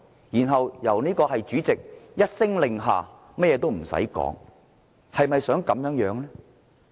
然後，由主席一聲令下，甚至也不用討論，就予以通過。